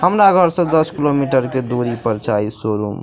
हमरा घर से दस किलोमीटर के दूरी पर छा इ शोरूम ।